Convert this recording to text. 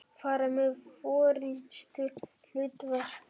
fara með forystuhlutverk.